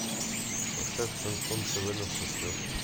поставь шансон тв на смотрешке